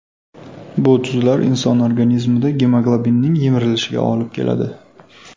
Bu tuzlar inson organizmida gemoglobinning yemirilishiga olib keladi.